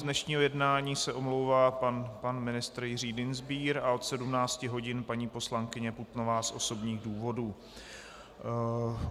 Z dnešního jednání se omlouvá pan ministr Jiří Dienstbier a od 17 hodin paní poslankyně Putnová z osobních důvodů.